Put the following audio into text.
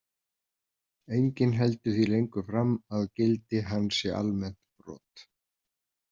Enginn heldur því lengur fram að gildi hans sé almennt brot.